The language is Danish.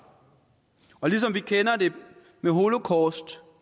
og ligesom vi kender det med holocaust